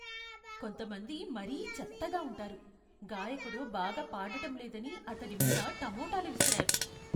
కొంతమంది మరీ చెత్తగా ఉంటారు. గాయకుడు బాగా పాడటం లేదని అతడి మీద టమోటాలు విసిరారు.